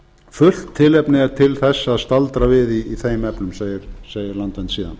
fullt tilefni er til þess að staldra við í þeim efnum segir landvernd síðan